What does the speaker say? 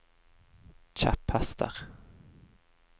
kjepphester